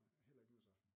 Heller ikke nytårsaften